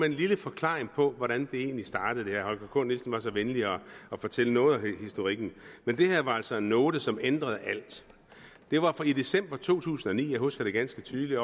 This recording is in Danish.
en lille forklaring på hvordan det her egentlig startede herre holger k nielsen var så venlig at fortælle noget om historikken men det her var altså en note som ændrede alt det var i december to tusind og ni jeg husker det ganske tydeligt